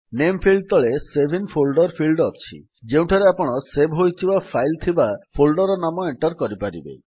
ନାମେ ଫିଲ୍ଡ ତଳେ save in folder field ଅଛି ଯେଉଁଠାରେ ଆପଣ ସେଭ୍ ହୋଇଥିବା ଫାଇଲ୍ ଥିବା ଫୋଳ୍ଡର୍ ର ନାମ ଏଣ୍ଟର୍ କରିବେ